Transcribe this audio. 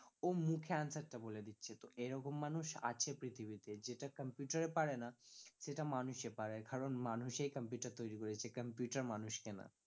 ও মুখে answer টা বলে দিচ্ছে তো এরকম মানুষ আছে পৃথিবীতে যেটা computer এ পারেনা সেটা মানুষে পারে কারণ মানুষেই computer তৈরী করেছে computer মানুষকে নয়